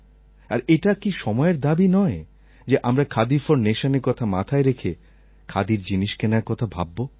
আর এটা কি সময়ের দাবি নয় যে আমরা খাদি ফর নেশনএর কথা মাথায় রেখে খাদির জিনিস কেনার কথা ভাবব